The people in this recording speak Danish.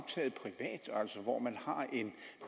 hvor man har en